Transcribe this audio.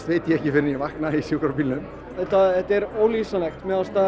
veit ég ekki fyrr en ég vakna í sjúkrabílnum þetta þetta er ólýsanlegt mér fannst